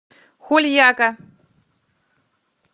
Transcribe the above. хульяка